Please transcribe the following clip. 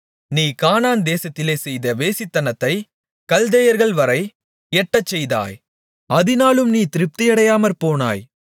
நீ கானான் தேசத்திலே செய்த வேசித்தனத்தைக் கல்தேயர்கள்வரை எட்டச் செய்தாய் அதினாலும் நீ திருப்தியடையாமற்போனாய்